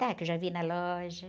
Está, que eu já vi na loja.